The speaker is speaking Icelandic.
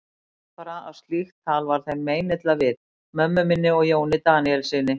Ég veit bara að slíkt tal var þeim meinilla við, mömmu minni og Jóni Daníelssyni.